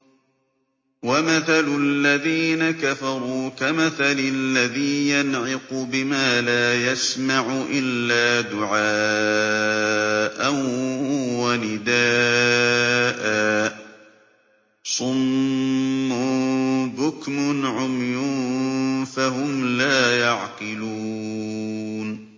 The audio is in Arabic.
وَمَثَلُ الَّذِينَ كَفَرُوا كَمَثَلِ الَّذِي يَنْعِقُ بِمَا لَا يَسْمَعُ إِلَّا دُعَاءً وَنِدَاءً ۚ صُمٌّ بُكْمٌ عُمْيٌ فَهُمْ لَا يَعْقِلُونَ